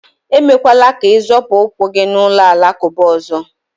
emekwala ka ị zọpụ ụkwụ gị n'ụlọ alakụba ọzọ